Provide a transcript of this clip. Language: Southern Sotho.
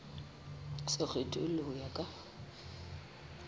se kgethollwe ho ya ka